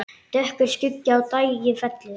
Dökkur skuggi á daginn fellur.